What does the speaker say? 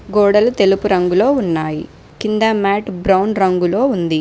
గోడలు తెలుపు రంగులో ఉన్నాయి కింద మ్యాట్ బ్రౌన్ రంగులో ఉంది.